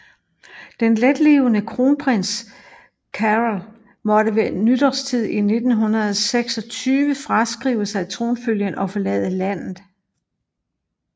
Den letlevende kronprins Carol måtte ved nytårstid 1926 fraskrive sig tronfølgen og forlade landet